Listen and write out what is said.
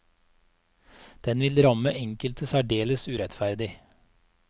Den vil ramme enkelte særdeles urettferdig.